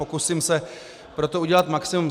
Pokusím se proto udělat maximum.